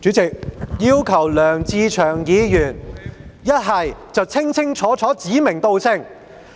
主席，我要求梁志祥議員清楚地指名道姓。